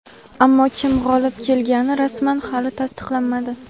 Ammo kim g‘olib kelgani rasman hali tasdiqlanmadi.